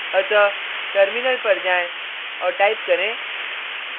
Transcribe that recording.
अतः टर्मिनल पर जाएँ और टाइप करें